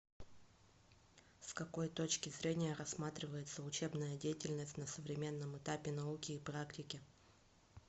с какой точки зрения рассматривается учебная деятельность на современном этапе науки и практики